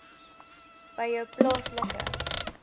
by jou plaaslike